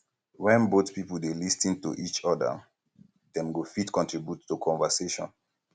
when both um pipo dey lis ten to each oda dem go um fit contribute to conversation